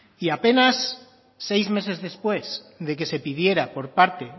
y apenas seis meses después de que se pidiera por parte